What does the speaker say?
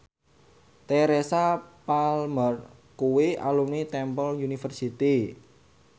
Teresa Palmer kuwi alumni Temple University